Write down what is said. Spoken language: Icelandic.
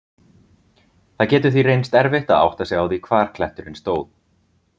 Það getur því reynst erfitt að átta sig á því hvar kletturinn stóð.